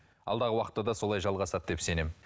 алдағы уақытта да солай жалғасады деп сенемін